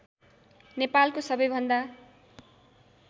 नेपालको सबै भन्दा